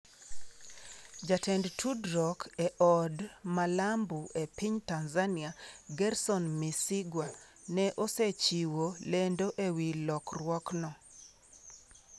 Jatend tudruok e Od Malambu e piny Tanzania, Gerson Msigwa, ne osechiwo lendo ewi lokruokno.